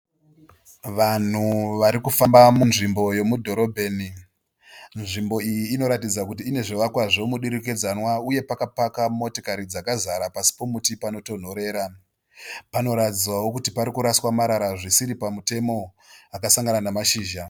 Vanhu varikufamba munzvimbo yemudhorobheni. Nzvimbo iyi inoratidza kuti ine zvivakwa zvemudurikidzanwa, uye pakapaka motokari dzakazara pasi pemuti panotonhorera. Panoratidzawo kuti pari kuraswa marara zvisiri pamutemo akasangana nemashizha .